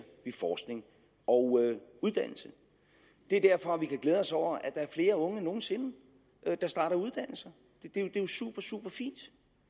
forskning og uddannelse det er derfor vi kan glæde os over at der er flere unge end nogen sinde der starter uddannelse det er jo supersuperfint